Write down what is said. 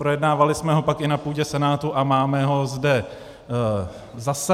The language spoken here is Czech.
Projednávali jsme ho pak i na půdě Senátu a máme ho zde zase.